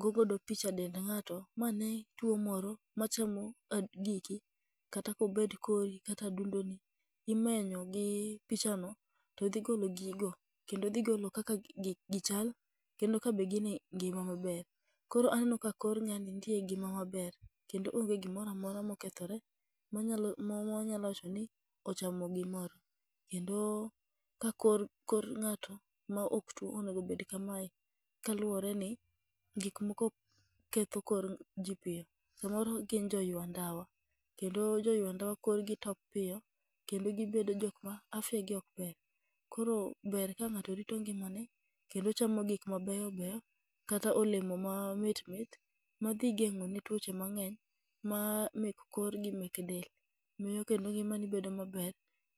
go godo picha dend ng'ato, ma ne tuo moro ma chamo giki kata kobet kori kata adundo ni. Imenyo gi picha no to dhi golo gigo kendo dhi golo kaka gichal, kendo ka be gine ngima maber. Koro aneno ka kor ng'ani nitie e ngima maber, kendo onge gimoramora mokethore manyalo mwanyalo wacho ni ochamo gimoro. Kendo ka kor ng'ato ma ok tuo onegobed kamae, kaluwore ni gik moko ketho kor ji piyo. Samoro gin jo ywa ndawa, kendo jo ywa ndawa korgi top piyo, kendo gibedo jok ma afya gi ok ber. Koro ber ka ng'ato rito ngima ne kendo chamo gik ma beyo beyo, kata olemo ma mit mit, madhi geng'o ne tuoche mang'eny ma make korgi mek del. Miyo kendo ngimani bedo maber,